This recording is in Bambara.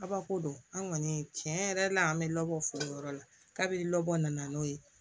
Kabako don an kɔni tiɲɛ yɛrɛ la an bɛ labɔ fo yɔrɔ la kabi labɔ n'o ye